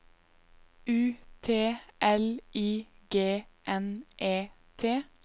U T L I G N E T